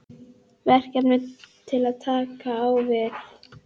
Verkefni til að takast á við?